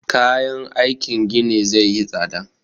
Kayan aikin gini zai yi tsada